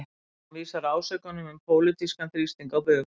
Hann vísar ásökunum um pólitískan þrýsting á bug